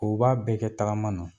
O b'a bɛɛ kɛ tagama na.